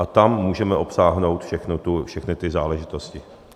A tam můžeme obsáhnout všechny ty záležitosti.